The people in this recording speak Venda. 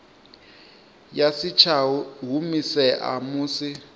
ya si tsha humisea musi